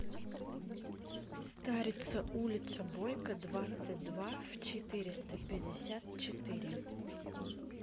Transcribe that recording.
старица улица бойко двадцать два в четыреста пятьдесят четыре